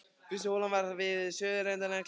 Fyrsta holan var við suðurenda Kleifarvatns.